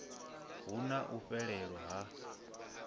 hu na u fhelelwa ha